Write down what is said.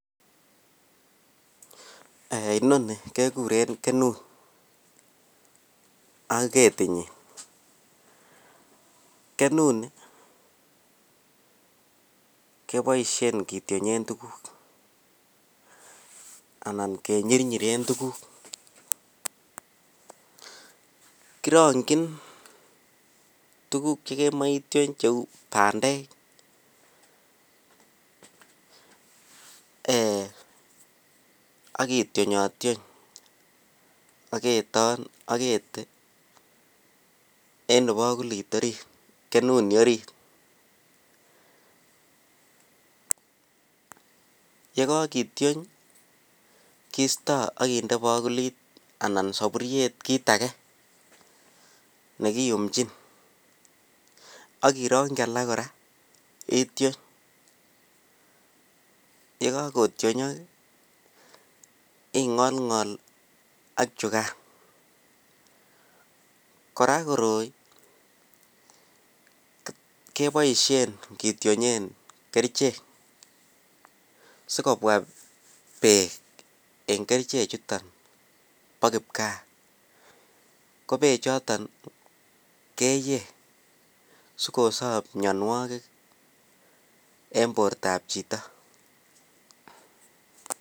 Inonii kekuren kenut ak ketinyin, kenunii keboishen kitionyen tukuk anan kenyirnyiren tukuk, kirongyin tukuk chekemoe itiony cheu bandek eeh ak kitionyationy aketon ak ketii en ibokulit oriit kenunii oriit, yekokitiony kisto ak kinde bokulit anan soburiet kiit akee nekiyumnjin ak irongyi alak kora itiony, yekokotionyok ingolngol ak chukan, kora koroi keboishen kitionyen kerichek sikobwa beek en kerichechuton boo kipkaa ko kerichechoton keyee sikosob mionwokik en bortab chito.